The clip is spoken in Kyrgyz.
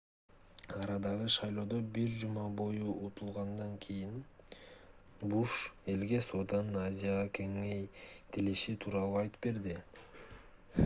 арадагы шайлоодо бир жума бою утулгандан кийин буш элге сооданын азияга кеңейтилиши тууралуу айтып берди